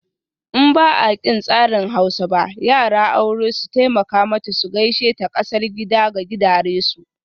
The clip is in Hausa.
In ba'aƙin tsarin Hausa ba, yara aure su taimaka mata su gaishe ta kasar gida ga gidaresu.